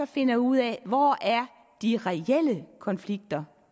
finder ud af hvor de reelle konflikter